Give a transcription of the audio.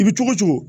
I bi cogo o cogo